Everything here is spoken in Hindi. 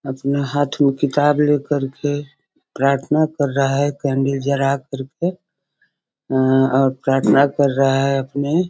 अपना हाथ में किताब ले करके प्राथना कर रहा है कैंडल जला कर के अ और प्राथना कर रहा है अपने --